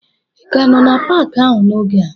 Ị ka nọ n'Paakị ahụ n'oge a?